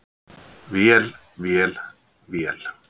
Vél, vél, vél.